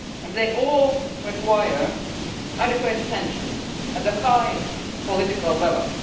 They all require adequate attention at the highest political level.